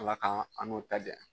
Ala k'an n'o ta diya